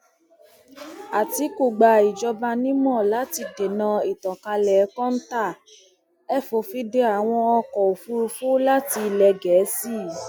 àtìkù gba ìjọba nímọ láti dènà ìtànkálẹ kọńtà ẹ fòfin de àwọn ọkọ òfúrufú láti ilẹ gẹẹsì